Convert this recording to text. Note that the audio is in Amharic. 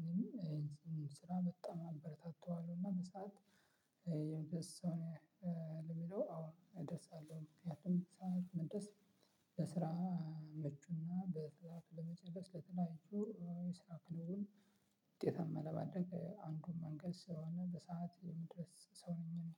እኔም ስራ በጣም አበረታተዋለሁ እና በሰአት የሚደርስ ሰው ነው የሚለው አሁን እደርሳለሁ። መድረስ ለስራ መጩና በሰአቱ ለመድረስ ለተለያዩ የስራ ክለቡን ውጤታማ ለማድረግ አንዱን መንገድ ስራውን በሰአት የምድረስ ሰው ነኝ